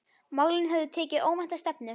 Málin höfðu tekið óvænta stefnu.